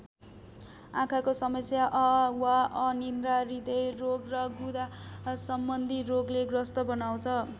आँखाको समस्या वा अनिद्रा हृदयरोग र गुदासम्बन्धी रोगले ग्रस्त बनाउँछ ।